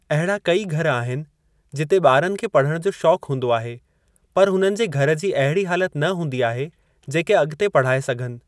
अहिड़ा कई घर आहिनि जिते ॿारनि खे पढ़ण जो शौक़ हूंदो आहे पर हुननि जे घर जी अहिड़ी हालत न हूंदी आहे जेके अॻिते पढ़ाए सघनि।